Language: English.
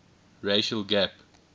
racial gap